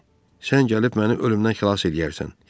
Sən gəlib məni ölümdən xilas eləyərsən, yaxşımı?